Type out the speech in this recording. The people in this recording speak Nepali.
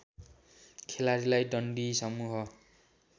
खेलाडीलाई डन्डी समूह